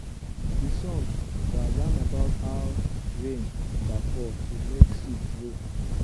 de song da yan about how rain da fall to make seed grow